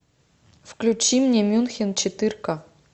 включи мне мюнхен четырка